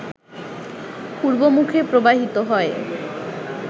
পূর্বমুখে প্রবাহিত হয়ে